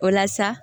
O la sa